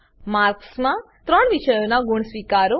marks માં ત્રણ વિષયોનાં ગુણ સ્વીકારો